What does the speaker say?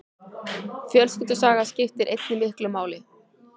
Fjölskyldusaga skiptir einnig miklu máli.